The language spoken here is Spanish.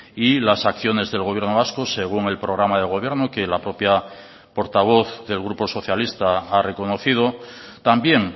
y las acciones del gobierno vasco según el programa de gobierno que la propia portavoz del grupo socialista ha reconocido también